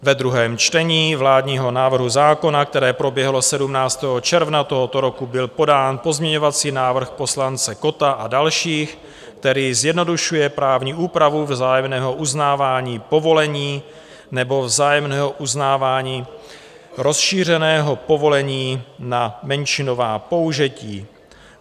Ve druhém čtení vládního návrhu zákona, které proběhlo 17. června tohoto roku, byl podán pozměňovací návrh poslance Kotta a dalších, který zjednodušuje právní úpravu vzájemného uznávání povolení nebo vzájemného uznávání rozšířeného povolení na menšinová použití.